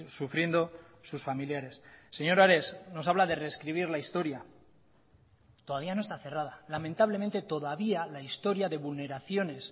sufriendo sus familiares señor ares nos habla de rescribir la historia todavía no está cerrada lamentablemente todavía la historia de vulneraciones